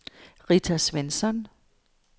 Rita Svensson